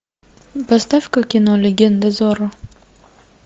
поставь ка кино легенда зорро